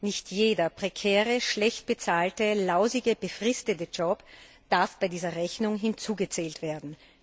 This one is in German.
Nicht jeder prekäre, schlecht bezahlte, lausige, befristete Job darf bei dieser Rechnung mitgezählt werden.